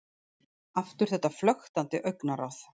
Aftur þetta flöktandi augnaráð.